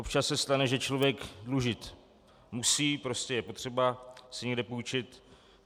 Občas se stane, že člověk dlužit musí, prostě je potřeba si někde půjčit.